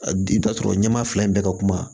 I bɛ taa sɔrɔ ɲɛma fila in bɛɛ ka kuma